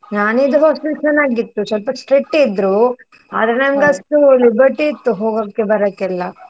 ನಾನಿದ್ದ hostel ಚನ್ನಾಗಿತ್ತು, ಸ್ವಲ್ಪ strict ಇದ್ರು, ಆದ್ರೆ ನಮ್ಗಷ್ಟು liberty ಇತ್ತು ಹೋಗೋಕೆ ಬರೋಕ್ಕೆಲ್ಲ.